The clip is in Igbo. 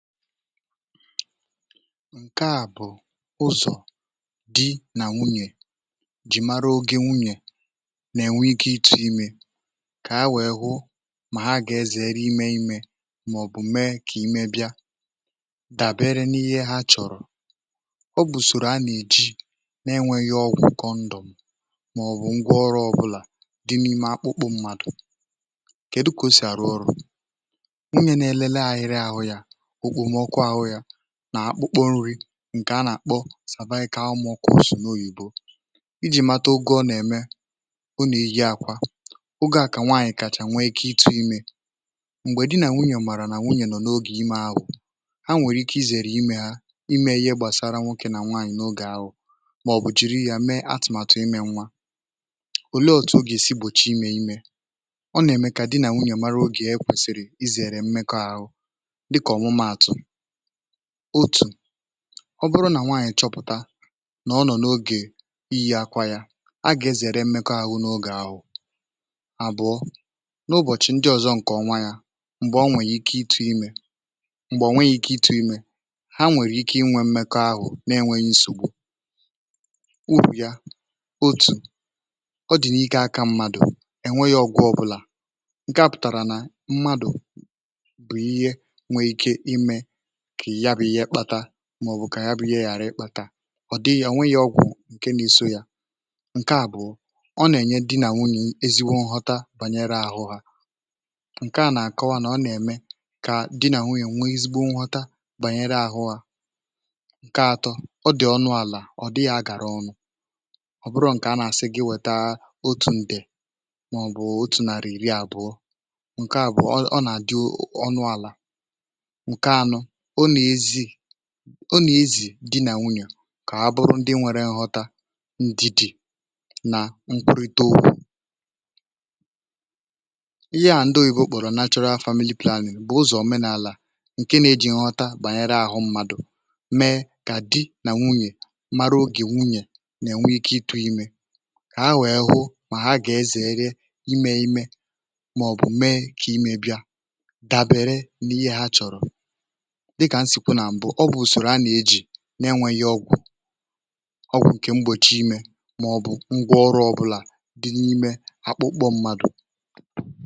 ǹke à bụ̀ usò di nà nwunyè ji mara ogė nwunyè nà-enwe ike itu̇ imė kà ha wèe hụ mà ha gà-ezere imė imė um mà ọ̀ bụ̀ mee kà ime bịa dàbere n’ihe ha chọ̀rọ̀ ọ bụ̀sòrò a nà-èji n’enwėghi ọgwụ̇ kọndọ̀ m mà ọ̀ bụ̀ ngwa ọrụ̇ ọbụlà di n’ime akpụkpọ mmadụ̀ kèdu kà o sì àrụ ọrụ̇ nà-àkpụ kpònri̇ ǹkè a nà-àkpọ sàbaghị̇ kà anwụọ kọ̀ọ sò n’oyìbo ijì mata ogè ọ nà-ème ụnụ̀ ihe àkwà ogè à kà nwaànyị̀ kàchà nwa ikė itu̇ imė m̀gbè di nà nwunyè màrà nà nwunyè nọ n’ogè imė ahụ̀ ha nwèrè ike izèrè imė hȧ imė ihe gbàsara nwokė nà nwaànyị̀ n’ogè ahụ̀ mà ọ̀bùchiri yȧ mee atụ̀màtụ imė nwa òle òtù ogè si gbòchie imė imė ọ nà-ème kà di nà nwunyè mara ogè e kwèsìrì izère mmekọ ahụ̇ otu̇ ọ bụrụ nà nwaànyị̀ chọpụ̀ta nà ọ nọ̀ n’ogè iyi̇ akwȧ yȧ agà ezèrè mmekọ ahụ̇ n’ogè ahụ̀ àbụ̀ọ n’ụbọ̀chị̀ ndị ọ̀zọ ǹkè ọnwa yȧ m̀gbè o nwèrè ike ịtụ̇ imė m̀gbè ọnwe yȧ ike ịtụ̇ imė ha nwèrè ike inwė mmekọ ahụ̀ na-enweghi nsògbu ụrù yȧ otu̇ ọ dị̀ n’ike aka mmadụ̀ enweghị ọgwụ̇ ọbụlà ǹke a pụ̀tàrà nà mmadụ̀ màọ̀bụ̀ kà ya bụ̇ ihe ghàra ịkpȧta ọ̀ dịghị̀ ọ nweghị̇ ọgwụ̀ ǹke na-isȯ yȧ ǹke àbụ̀ọ nà-ènye di nà nwunyè ezigbo nghọta bànyere àhụ hȧ ǹke à nà-àkọwa um nà ọ nà-ème kà di nà nwunyè nweezigbo nghọta bànyere àhụ hȧ ǹke atọ ọ dị̀ ọnụ àlà ọ̀ dịghị̇ agàra ọnụ̇ ọ̀ bụrụ ǹkè a nà-àsị gị wèta otù ǹdè màọ̀bụ̀ otù nàrà ìrì àbụọ ǹke àbụ̀ọ ọ nà-àdị ọnụ àlà ọ nà-ezì ọ nà-ezì dị nà nwunyè um kà ha bụrụ ndị nwere ǹghọta ndidi̇ nà nkwụrịta okwu ihe à ndị òyìbe okpòrò nachọrọ ha hu hu wunyè na-enwe ike ịtụ̇ imė kà ha wụ̀ ịhụ mà ha gà-ezère imė imė màọ̀bụ̀ mee kà imebìa dàbèrè n’ihe ha chọ̀rọ̀ ọ dịgà m sì kwu nà m bụ ọ bụ̀ ùsòrò a nà-eji na-enwėghi ọgwụ ọgwụ nke m gbòchi imė um mà ọ̀ bụ ngwọ ọrụ ọ bụlà dị n'ime akpụkpọ̇ mmadụ̀